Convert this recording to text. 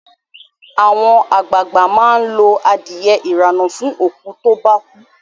Àwọn àgbàag̀bà máa lo adiye ìrànà fún òkú to bá kú